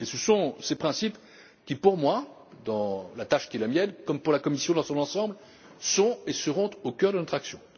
Ce sont ces principes qui, pour moi dans la tâche qui est la mienne comme pour la Commission dans son ensemble, sont et seront au cœur de notre action.